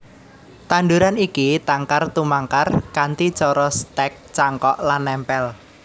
Tanduran iki tangkar tumangkar kanthi cara stèk cangkok lan nempel